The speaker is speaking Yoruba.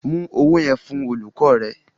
Mú owó yẹn fún olùkọ́ rẹ.